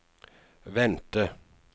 vente